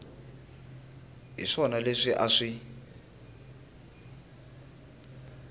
hi swona leswi a swi